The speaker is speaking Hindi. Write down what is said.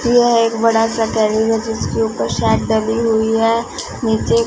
यह एक बड़ा सा जिसके ऊपर शेड डली हुई है नीचे--